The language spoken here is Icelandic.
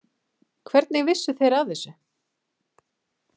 Hvernig vissu þeir af þessu?